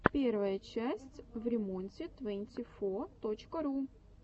первая часть времонте твэнти фо точка ру